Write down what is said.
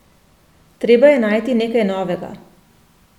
Treba je najti nekaj novega.